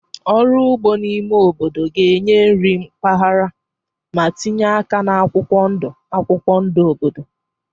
Ọrụ ugbo n'ime obodo ga-enye nri mpaghara ma tinye aka na akwụkwọ ndụ akwụkwọ ndụ obodo.